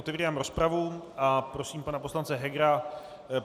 Otevírám rozpravu a prosím pana poslance Hegera.